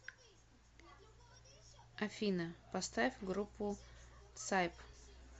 афина поставь группу тсайп